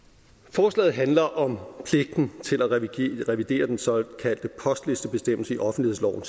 forslaget handler om pligten til at revidere den såkaldte postlistebestemmelse i offentlighedsloven